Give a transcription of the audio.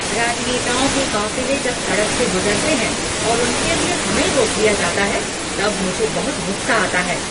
राजनेताओं के काफिले जब सड़क से गुजरते हैं और उनके लिए हमें रोक दिया जाता है तब मुझे बहुत गुस्सा आता है।